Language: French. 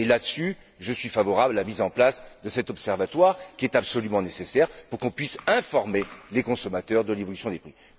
Et là dessus je suis favorable à la mise en place de cet observatoire, qui est absolument nécessaire pour qu'on puisse informer les consommateurs de l'évolution des prix.